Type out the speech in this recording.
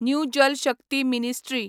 new Jal Shakti ministry